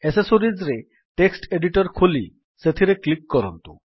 accessories ରେ text editor ଖୋଲି ସେଥିରେ କ୍ଲିକ୍ କରନ୍ତୁ